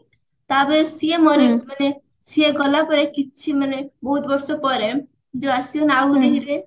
ତାପରେ ସିଏ ମରିଯିବ ମାନେ ସିଏ ଗଲାପରେ କିଛି ମାନେ ବହୁତ ବର୍ଷପରେ ଯଉ ଆସିବ